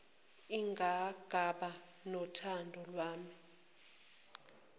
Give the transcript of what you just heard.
nganqaba nothando lwami